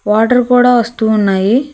Water కూడా వస్తూ ఉన్నాయి.